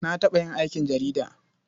Na taɓa yin aikin jarida.